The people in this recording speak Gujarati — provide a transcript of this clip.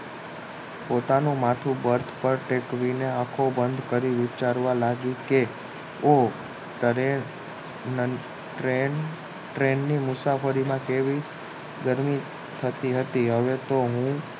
પોતાનું માથું બર્થ પર ટેકવીને આખો બંધ કરીને વિચારવા લાગી કે ઓહ ટ્રેન ટ્રેનની મુસાફરીમાં કેવી ગરમી થતી હતી હવે તો હું